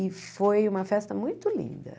E foi uma festa muito linda.